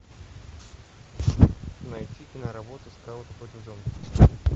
найти киноработу скауты против зомби